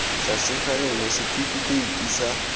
tlase ga yona setifikeiti sa